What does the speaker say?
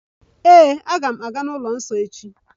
Aga m aga n'ụlọ nsọ echi.